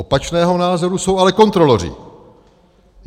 Opačného názoru jsou ale kontroloři.